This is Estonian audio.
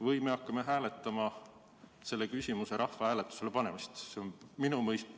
Või me hakkame hääletama selle küsimuse rahvahääletusele panemist?